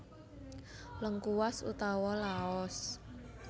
Lengkuas utawa Laos